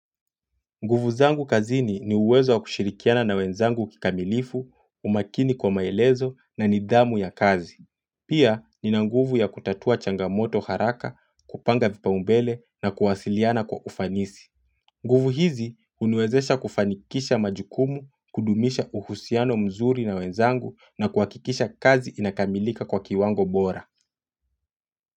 Nguvu zangu kazini ni uwezo wa kushirikiana na wenzangu kikamilifu, umakini kwa maelezo na nidhamu ya kazi. Pia nina nguvu ya kutatua changamoto haraka, kupanga vipaumbele na kuwasiliana kwa ufanisi. Nguvu hizi huniwezesha kufanikisha majukumu, kudumisha uhusiano mzuri na wenzangu na kuhakikisha kazi inakamilika kwa kiwango bora.